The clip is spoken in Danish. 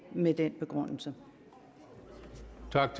med den begrundelse